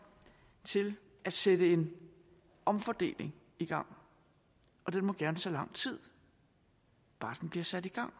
til at sætte en omfordeling i gang den må gerne tage lang tid bare den bliver sat i gang